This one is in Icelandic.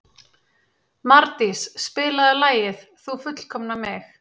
Mardís, spilaðu lagið „Þú fullkomnar mig“.